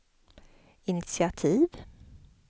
initiativ